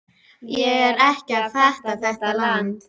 Ég er ekki að fatta þetta land.